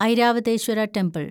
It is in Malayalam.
ഐരാവതേശ്വര ടെമ്പിൾ